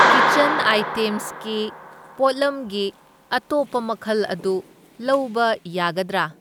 Kitchen ꯑꯥꯢꯇꯦꯝꯁꯀꯤ ꯄꯣꯠꯂꯝꯒꯤ ꯑꯇꯣꯞꯄ ꯃꯈꯜ ꯑꯗꯨ ꯂꯧꯕ ꯌꯥꯒꯗ꯭ꯔꯥ?